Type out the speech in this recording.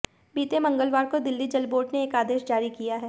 बीते मंगलवार को दिल्ली जल बोर्ड ने एक आदेश जारी किया है